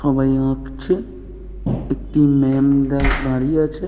সবাই আঁকছে। একটি ম্যাম দাঁড়িয়ে আছে।